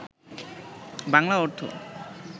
বাংলা অর্থ